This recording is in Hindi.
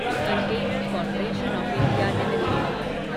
container corporation of India limited